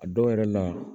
A dɔw yɛrɛ la